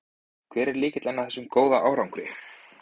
Hver er lykillinn að þessum góða árangri?